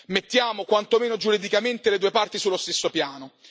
Mettiamo quantomeno giuridicamente le due parti sullo stesso piano.